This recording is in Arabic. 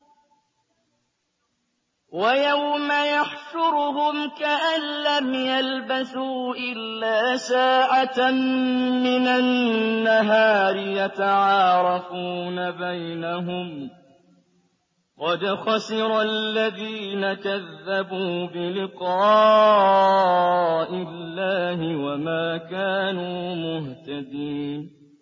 وَيَوْمَ يَحْشُرُهُمْ كَأَن لَّمْ يَلْبَثُوا إِلَّا سَاعَةً مِّنَ النَّهَارِ يَتَعَارَفُونَ بَيْنَهُمْ ۚ قَدْ خَسِرَ الَّذِينَ كَذَّبُوا بِلِقَاءِ اللَّهِ وَمَا كَانُوا مُهْتَدِينَ